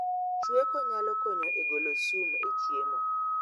Chweko nyalo konyo e golo sum e chiemo